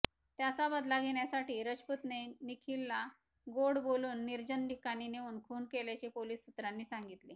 त्याचा बदला घेण्यासाठी रजपूतने निखिलला गोड बालून निर्जन ठिकाणी नेऊन खून केल्याचे पोलीस सूत्रांनी सांगितले